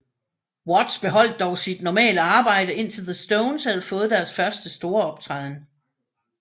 Watts beholdte dog sit normale arbejde indtil The Stones havde fået deres første store optræden